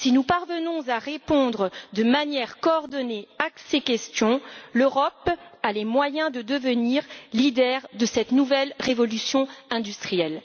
Si nous parvenons à répondre de manière coordonnée à ces questions, l'Europe aura les moyens de devenir leader de cette nouvelle révolution industrielle.